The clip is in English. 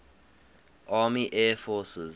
army air forces